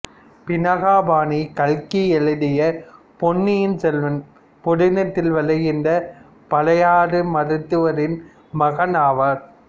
பினாகபாணி கல்கி எழுதிய பொன்னியின் செல்வன் புதினத்தில் வருகின்ற பழையாறை மருத்துவரின் மகன் ஆவார்